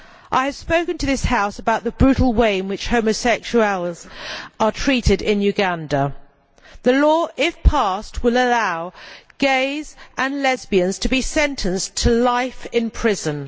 I have spoken to this House about the brutal way in which homosexuals are treated in Uganda. The law, if passed, will allow gays and lesbians to be sentenced to life in prison.